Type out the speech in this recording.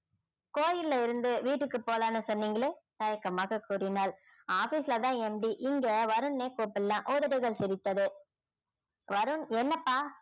கோயில்ல இருந்து வீட்டுக்கு போகலாம்னு சொன்னீங்களே தயக்கமாக கூறினாள் office ல தான் MD இங்க வருண்னே கூப்பிடலாம் உதடுகள் சிரித்தது வருண் என்னப்பா